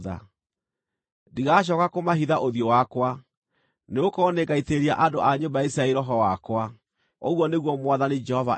Ndigacooka kũmahitha ũthiũ wakwa, nĩgũkorwo nĩngaitĩrĩria andũ a nyũmba ya Isiraeli Roho wakwa, ũguo nĩguo Mwathani Jehova ekuuga.”